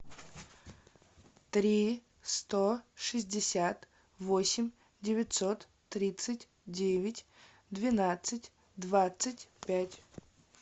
три сто шестьдесят восемь девятьсот тридцать девять двенадцать двадцать пять